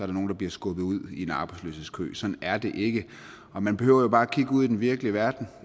det nogen der bliver skubbet ud i en arbejdsløshedskø sådan er det ikke og man behøver jo bare kigge ud i den virkelige verden